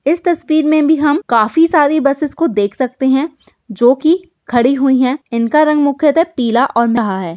इस तस्वीर मे भी हम काफी सारी बसिस को देख सकते है जोकिं खड़ी हुई है। इन का रंग मुख्यतः पीला है।